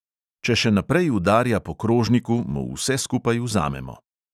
Če še naprej udarja po krožniku, mu vse skupaj vzamemo.